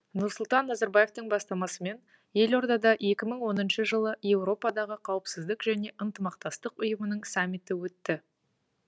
нұрсұлтан назарбаевтың бастамасымен елордада екі мың он үшінші жылы еуропадағы қауіпсіздік және ынтымақтастық ұйымының саммиті өтті